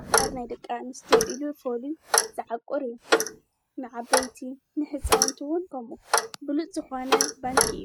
ዕቋር ናይ ደቂ ኣንስትዮ ኢሉ ፈልዩ ዝዓቊር እዩ፡፡ ንዓበይቲ ንሕፃውንት ውን ከምኡ ብሉፅ ዝኾነ ባንኪ እዩ፡፡